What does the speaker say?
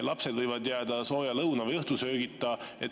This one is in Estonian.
Lapsed võivad jääda sooja lõuna‑ või õhtusöögita.